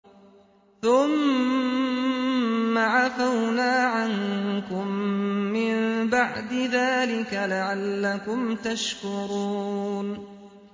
ثُمَّ عَفَوْنَا عَنكُم مِّن بَعْدِ ذَٰلِكَ لَعَلَّكُمْ تَشْكُرُونَ